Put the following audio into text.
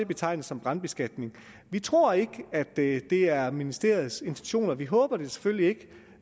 betegne som brandbeskatning vi tror ikke at det er ministeriets intentioner vi håber det selvfølgelig